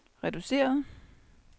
reduceret